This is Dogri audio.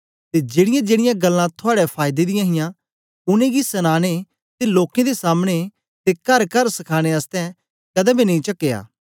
ते जेड़ीयांजेड़ीयां गल्लां थुआड़े फायदे दी हियां उनेंगी सनाने ते लोकें दे सामने ते करकर सखाने आसतै कदें बी नेई चकया